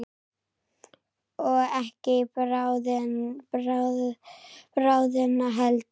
Og ekki í bráðina heldur.